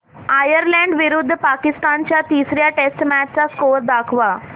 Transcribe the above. Ireland विरुद्ध पाकिस्तान च्या तिसर्या टेस्ट मॅच चा स्कोअर दाखवा